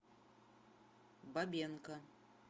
бабенко